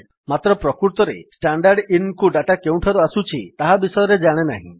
ମାତ୍ର ପ୍ରକୃତରେ standardinକୁ ଡାଟା କେଉଁଠାରୁ ଆସୁଛି ତାହା ବିଷୟରେ ଜାଣେନାହିଁ